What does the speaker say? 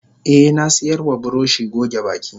Eh nasiyarwa buroshi goge baki.